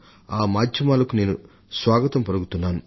ఆ మాధ్యమాలను కూడా నేను స్వాగతిస్తున్నాను